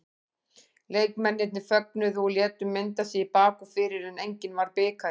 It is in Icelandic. Leikmennirnir fögnuðu og létu mynda sig í bak og fyrir en enginn var bikarinn.